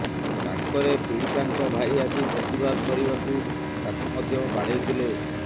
ପାଖରେ ପୀଡ଼ିତାଙ୍କ ଭାଇ ଆସି ପ୍ରତିବାଦ କରିବାକୁ ତାକୁ ମଧ୍ୟ ବାଡ଼େଇଥିଲେ